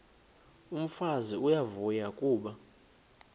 umfazi uyavuya kuba